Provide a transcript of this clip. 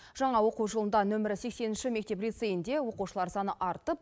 жаңа оқу жылында нөмірі сексенінші мектеп лицейінде оқушылар саны артып